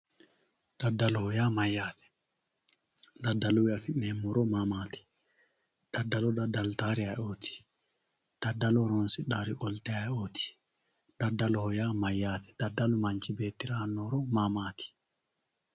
Dadaloho yaa mayate dadaluwii afinemo horo mamat dadalo dadaltawori ayioot dadalo horonsidhawori qolye ayioot dadaloho yaa mayate dadalu manchi beetira aano horo mamaat?